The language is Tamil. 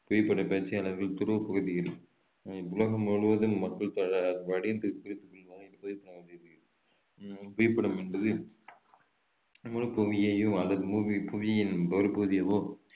புவிப்பட பயிற்சியாளர்கள் துருவப் பகுதியில் அஹ் உலகம் முழுவதும் மக்கள் தொகை படிந்து உம் புவிப்படம் என்பது முழுப்புவியையோ அல்லது புவியின் ஒரு பகுதியவோ